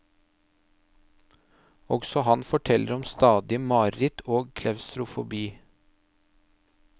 Også han forteller om stadige mareritt og klaustrofobi.